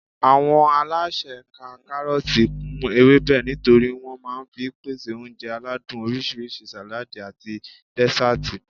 Àwọn alásè ka kárọ̀tì kún ewébẹ̀ nítorí wọn máa fi ń pèsè oúnjẹ aládùn oríṣiríṣi, sàládì àti dẹ́sàtì